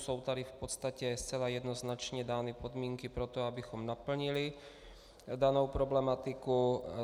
Jsou tady v podstatě zcela jednoznačně dány podmínky pro to, abychom naplnili danou problematiku.